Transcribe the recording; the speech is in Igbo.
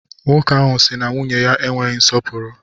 Nwoke ahụ si na nwunye ya enweghị nsọpụrụ.